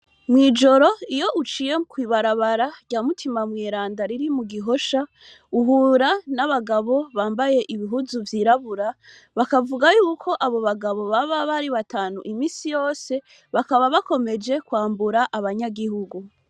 Mw'ijoro iyo uciye kw'ibarabara rya mutima mweranda riri mugihosha, uhura n'abagabo bambaye ibihuzu vy'irabura, bakavuga yuko abo bagabo baba bari batanu misi yose ,bakaba bakomeje kwambura abanyagihugu.